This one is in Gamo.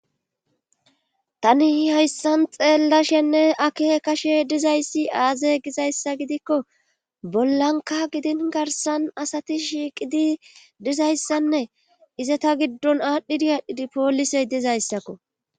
Tani haysan xeellashenne akeekashe dizayssi aaze gizaysa gidikko bollanka gidin garssan asati shiiqidi dizayssanne izeta giddon aadhidi aadhidi poolise dizayssa.